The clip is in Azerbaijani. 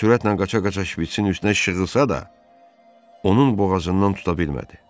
O sürətlə qaça-qaça şpiçin üstünə şığısa da, onun boğazından tuta bilmədi.